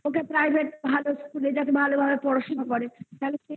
ওকে private ভালো school যাতে ভালোভাবে পড়াশোনা করে তাহলে